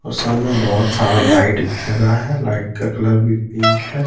और सामने बहुत सारा लाइट भी लगा है लाइट का कलर भी पिंक है।